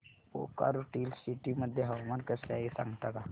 Bokaro Steel City मध्ये हवामान कसे आहे सांगता का